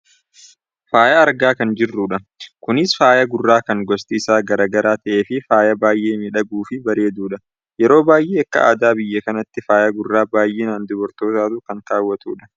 faaya argaa kan jirrudha. kunis faaya gurraa kan gosti isaa gara gara ta'ee fi faaya baayyee miidhaguufi bareedudha. yeroo baayyee akka aadaa biyya kanaatti faaya gurraa baayyinaan dubartootaatu kan kaawwatudha.